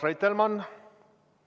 Urmas Reitelmann!